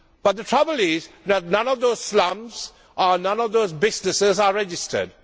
The trouble is that none of those slums and none of those businesses are registered.